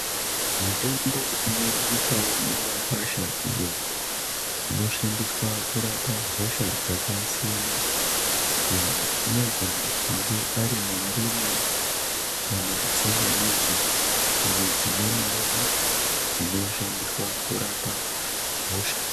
Mitombo inowanikwawo mumakwasha iyo inoshandiswa kurapa hosha dzakasiyana siyana inogona kunge arimandimu kana tsangamidzi nedzimweniwo dzinoshandiswa kurapa hosha.